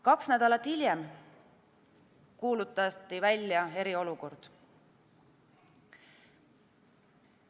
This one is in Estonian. Kaks nädalat hiljem kuulutati välja eriolukord.